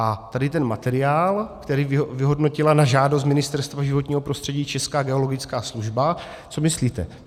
A tady ten materiál, který vyhodnotila na žádost Ministerstva životního prostředí Česká geologická služba - co myslíte?